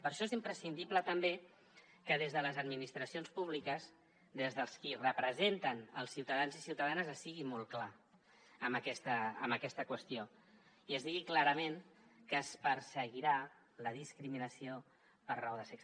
per això és imprescindible també que des de les administracions públiques des dels qui representen els ciutadans i ciutadanes es sigui molt clar en aquesta qüestió i es digui clarament que es perseguirà la discriminació per raó de sexe